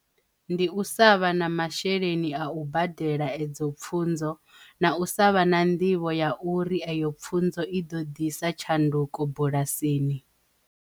Ndi u sa vha na masheleni a u badela edzo pfunzo na u savha na nḓivho ya uri ayo pfunzo i ḓo ḓisa tshanduko bulasini.